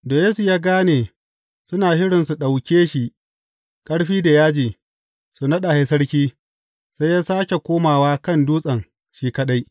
Da Yesu ya gane suna shirin su ɗauke shi ƙarfi da yaji su naɗa shi sarki, sai ya sāke komawa kan dutsen shi kaɗai.